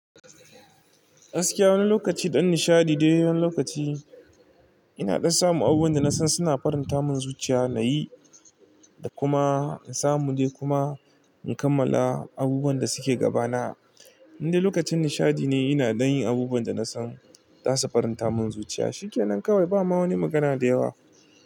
Gaskiya wani lokaci don nishaɗi dai wani lokaci ina don samu abubuwan da na san suna faranta mun zuciya nayi da kuma in samu dai kuma in kammala abubuwan da suke gaba na. Indai lokacin nishaɗi ne ina dan yin abubuwan da na samu za su faranta mun zuciya. Shikenan kawai ba ma wani magana da yawa.